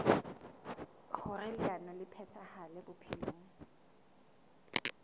hoer leano le phethahale bophelong